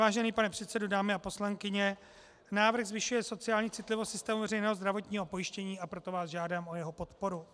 Vážený pane předsedo, dámy a poslanci, návrh zvyšuje sociální citlivost systému veřejného zdravotního pojištění, a proto vás žádám o jeho podporu.